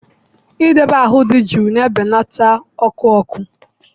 Idobe ahụ dị jụụ na-ebelata ọkụ ọkụ